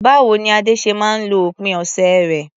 Báwo ni Ade ṣe máa ń lo òpin ọ̀sẹ̀ rẹ̀?